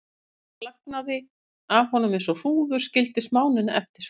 Móðursýkin flagnaði af honum eins og hrúður og skildi smánina eftir.